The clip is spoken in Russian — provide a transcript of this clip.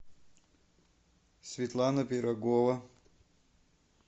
светлана пирогова